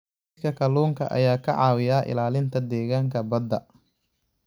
Kaydka kalluunka ayaa ka caawiya ilaalinta deegaanka badda.